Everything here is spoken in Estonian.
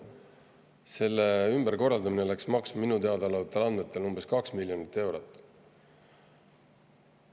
Selle ümberkorraldamine läks maksma minule teada olevatel andmetel umbes 2 miljonit eurot.